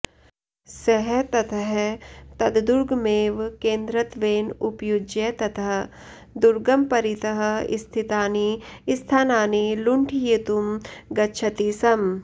सः ततः तद्दुर्गमेव केन्द्रत्वेन उपयुज्य तत् दुर्गं परितः स्थितानि स्थानानि लुण्ठयितुं गच्छति स्म